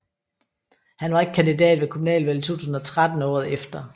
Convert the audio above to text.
Han var ikke kandidat ved kommunalvalget 2013 året efter